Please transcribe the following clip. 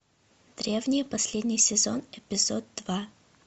древние последний сезон эпизод два